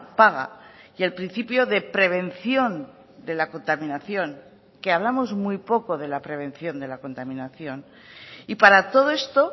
paga y el principio de prevención de la contaminación que hablamos muy poco de la prevención de la contaminación y para todo esto